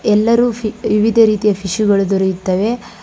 ಎಲ್ಲರು ವಿ ವಿವಿಧ ರೀತಿಯ ಫಿಶ್ ಗಳು ದೊರೆಯುತ್ತವೆ.